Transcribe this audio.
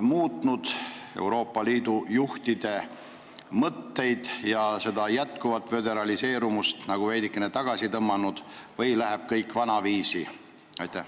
muutnud Euroopa Liidu juhtide mõtteid ja senist föderaliseerimist tõmmatakse veidikene tagasi või läheb kõik vanaviisi edasi?